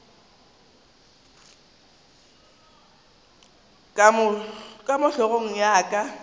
ka mo hlogong ya ka